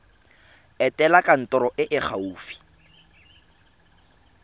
etela kantoro e e gaufi